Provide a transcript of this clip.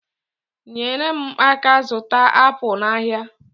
Nyere m aka zụta apụl n'ahịa